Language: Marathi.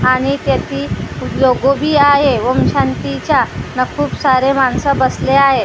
आणि त्याची लोगो बी आहे ओम शांतीचा ना खूप सारे लोकं बसले आहेत .